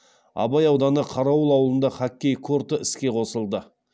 абай ауданы қарауыл ауылында хоккей корты іске қосылды